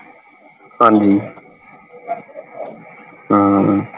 ਹਾਂਜੀ ਹਮ